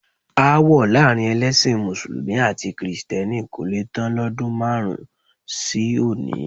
Aáwọ̀ láàrin ẹlẹ́sìn mùsùlùmí àti kìrìsìtẹ́nì kò le tán lọ́dún márùn-ún sí òní.